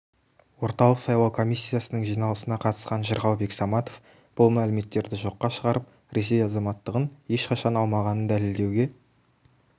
орталық сайлау комиссиясының жиналысына қатысқан жырғалбек саматов бұл мәліметтерді жоққа шығарып ресей азаматтығын ешқашан алмағанын дәлелдеуге